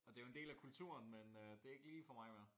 Og det er jo en del af kulturen men øh det er ikke lige for mig mere